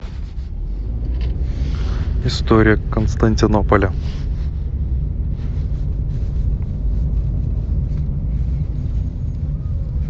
история константинополя